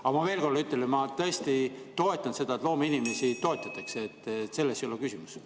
Aga ma veel kord ütlen, et ma tõesti toetan seda, et loomeinimesi toetatakse, selles ei ole küsimus.